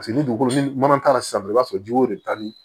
ni dugukolo mana t'a la sisan i b'a sɔrɔ jiw de bɛ taa ni